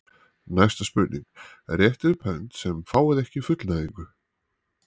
Næsta spurning: Réttið upp hönd sem fáið ekki fullnægingu.